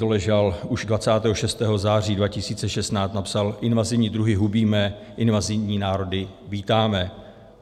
Doležal už 26. září 2016 napsal: Invazivní druhy hubíme, invazivní národy vítáme.